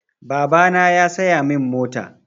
Babana ya saya min mota.